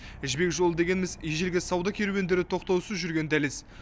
жібек жолы дегеніміз ежелгі сауда керуендері тоқтаусыз жүрген дәліз